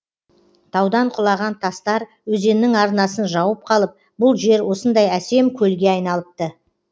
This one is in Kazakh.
таудан құлаған тастар өзеннің арнасын жауып қалып бұл жер осындай әсем көлге айналыпты